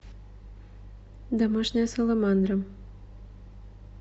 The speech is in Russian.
домашняя саламандра